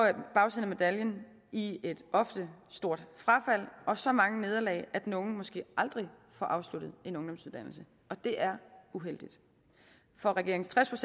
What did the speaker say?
bagsiden af medaljen i et ofte stort frafald og så mange nederlag at den unge måske aldrig får afsluttet en ungdomsuddannelse og det er uheldigt for regeringens tres